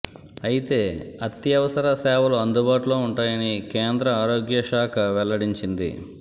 అయితే అత్యవసర సేవలు అందుబాటులో ఉంటాయని కేంద్ర ఆరోగ్య శాఖ వెల్లడించింది